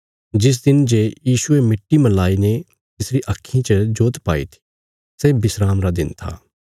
जिस दिन जे यीशुये मिट्टी मलाईने तिसरी आक्खीं च जोत पाई थी सै विस्राम रा दिन था